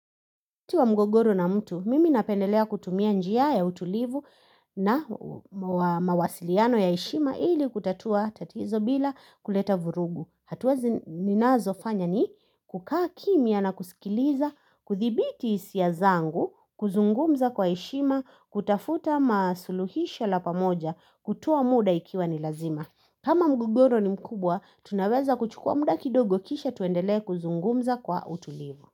Tua mgogoro na mtu, mimi napendelea kutumia njia ya utulivu na mawasiliano ya heshima ili kutatua tatizo bila kuleta vurugu. Hatua zi ninazofanya ni kukaa kimya na kusikiliza, kuthibiti hisia zangu, kuzungumza kwa heshima, kutafuta masuluhisho la pamoja, kutoa muda ikiwa ni lazima. Kama mgogoro ni mkubwa, tunaweza kuchukua muda kidogo kisha tuendelea kuzungumza kwa utulivu.